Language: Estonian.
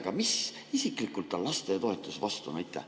Aga mis tal isiklikult lastetoetuste vastu on?